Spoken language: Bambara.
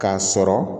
K'a sɔrɔ